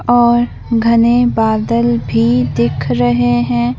और घने बादल भी दिख रहे है।